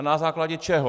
A na základě čeho?